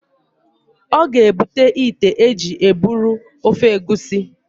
ọ ga-ebute ite e ji eburu ofe egusi